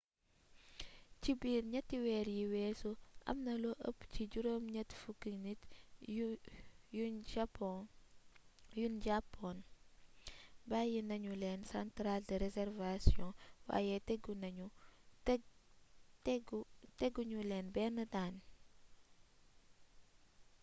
ci biir 3 weer yi weesu amna lu ëpp 80 nit yuñ jàppoon bàyyi nañu leen centrale de réservation waaye tegu ñu leen benn daan